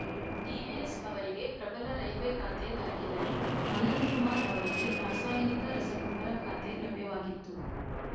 DVS ಅವರಿಗೆ ಪ್ರಬಲ railway ಖಾತೆ ದೊರಕಿದರೆ ಅನಂತ ಕುಮಾರ್‌ ಅವರಿಗೆ ರಾಸಾಯನಿಕ ರಸಗೊಬ್ಬರ ಖಾತೆ ಲಭ್ಯವಾಗಿತ್ತು